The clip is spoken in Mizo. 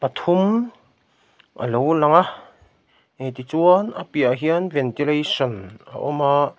pathum a lo lang a e tichuan a piahah hian ventilation a awm a.